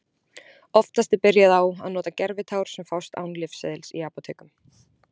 Oftast er byrjað á að nota gervitár sem fást án lyfseðils í apótekum.